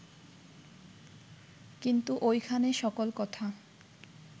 কিন্তু ঐখানে সকল কথা